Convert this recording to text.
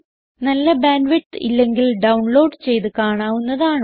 നല്ല bandwidth ഇല്ലെങ്കിൽ download ചെയ്ത് കാണാവുന്നതാണ്